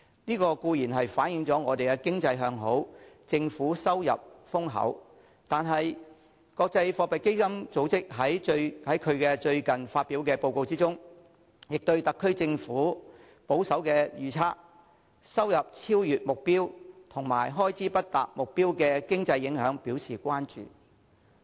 這固然反映我們的經濟向好，政府收入豐厚，但國際貨幣基金組織在最近發表的報告中，亦對特區政府的"保守預測"、"收入超越目標"及"開支不達目標"的經濟影響表示關注。